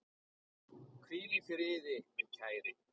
Hvíl í friði, minn kæri.